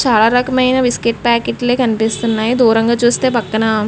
చాలా రకమైన బిస్క్యూట్ ప్యాకెట్లే కనిపిస్తున్నాయి దూరంగా చుస్తే పక్కన్న --